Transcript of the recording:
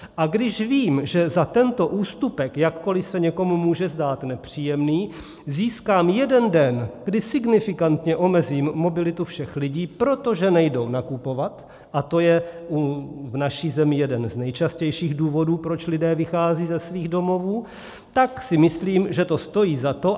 A když vím, že za tento ústupek, jakkoli se někomu může zdát nepříjemný, získám jeden den, kdy signifikantně omezím mobilitu všech lidí, protože nejdou nakupovat, a to je v naší zemi jeden z nejčastějších důvodů, proč lidé vycházejí ze svých domovů, tak si myslím, že to stojí za to.